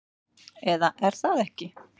Eða er það ekki?